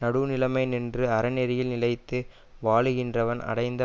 நடுவுநிலைமை நின்று அறநெறியில் நிலைத்து வாழகின்றவன் அடைந்த